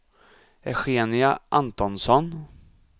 Eugenia Antonsson